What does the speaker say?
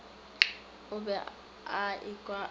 o be a ekwa a